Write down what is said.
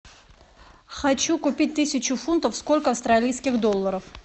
хочу купить тысячу фунтов сколько австралийских долларов